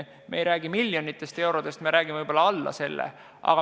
Me ei räägi miljonitest eurodest, me räägime võib-olla alla selle.